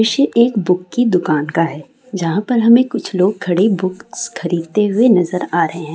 दृश्य एक बुक की दूकान का है जहाँ पर हमें कुछ लोग खरे बुक्स खरीदते हुए नजर आ रहे है।